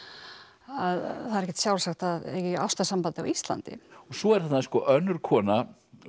að það er ekkert sjálfsagt að eiga í ástarsambandi á Íslandi svo er þarna önnur kona